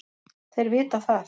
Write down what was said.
Þeir vita það.